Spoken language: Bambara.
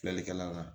Filɛlikɛla kan